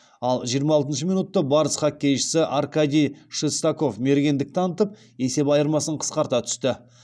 ал жиырма алтыншы минутта барыс хоккейшісі аркадий шестаков мергендік танытып есеп айырмасын қысқарта түсті